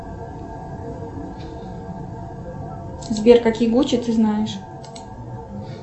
сбер какие гуччи ты знаешь